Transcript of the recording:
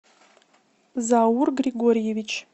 заур григорьевич